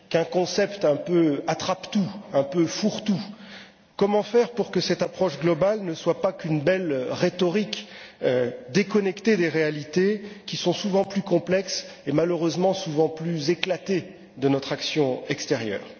Qu'un concept un peu attrape tout, un peu fourre tout? Comment faire pour que cette approche globale ne soit pas qu'une belle rhétorique, déconnectée des réalités qui sont souvent plus complexes et malheureusement souvent plus éclatées de notre action extérieure?